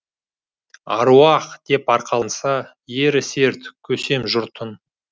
аруақ деп арқаланса ері серт көсем жұртың